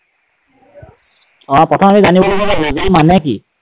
অ, প্ৰথম আমি জানিব লাগিব ৰোজা মানে কি?